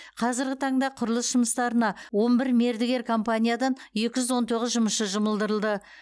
қазіргі таңда құрылыс жұмыстарына он бір мердігер компаниядан екі жүз он тоғыз жұмысшы жұмылдырылды